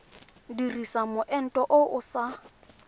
dirisa moento o o sa